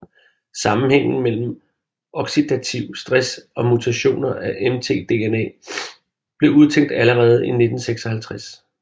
Sammenhængen mellem oxidativ stress og mutationer i mtDNA blev udtænkt allerede i 1956